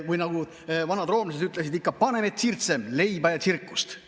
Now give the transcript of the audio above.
Või nagu vanad roomlased ütlesid: panem et circenses, leiba ja tsirkust!